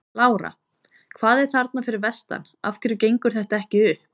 Lára: Hvað er að þarna fyrir vestan, af hverju gengur þetta ekki upp?